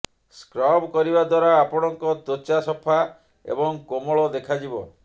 scrub କରିବା ଦ୍ୱାରା ଆପଣଙ୍କ ତ୍ୱଚା ସଫା ଏବଂ କୋମଳ ଦେଖାଯିବ